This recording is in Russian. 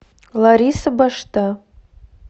лариса башта